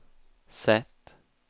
sätt